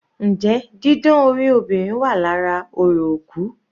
Njẹ́ didán orí obìnrin wà lára orò òkú?